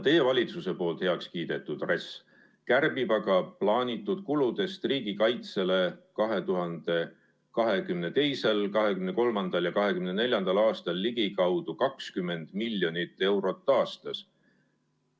Teie valitsuse heaks kiidetud RES kärbib aga plaanitud kuludest riigikaitsele 2022., 2023. ja 2024. aastal ligikaudu 20 miljonit eurot aastas.